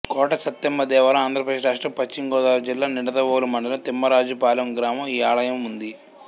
కొట సత్తెమ్మ దేవాలయం ఆంధ్రప్రదేశ్ రాష్ట్రం పశ్చిమగోదావరి జిల్లా నిడదవోలు మండలం తిమ్మరాజుపాలెం గ్రామం ఈ ఆలయం ఉంది